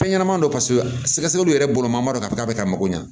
Fɛn ɲɛnɛmani dɔ paseke sɛgɛ sɛgɛliw yɛrɛ bolo man dɔ k'a bɛ k'a bɛ ka mago ɲa